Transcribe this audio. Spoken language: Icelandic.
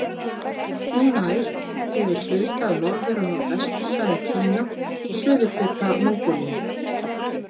Hún nær yfir hluta af norður- og norðvestursvæðum Kína og suðurhluta Mongólíu.